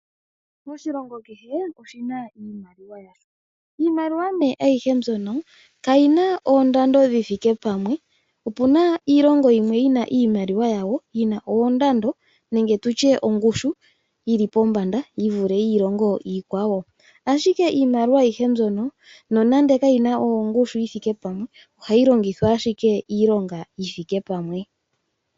Oshilongo kehe oshina iimaliwa yasho. Iimaliwa nee ayihe mbyono kayina oondando dhi thike pamwe. Opuna iilongo yimwe yina iimaliwa yawo yina oondando nenge tutye ongushu yili pombanda yi vule yiilongo iikwawo. Ashike iimaliwa ayihe mbyono nonando kayina ongushu yi thike pamwe ohayi longithwa ashike iilonga thike pamwe.